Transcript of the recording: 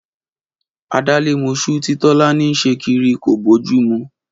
Adálémos̩ú tí Tó̩lání ń s̩e kiri kò bójú mu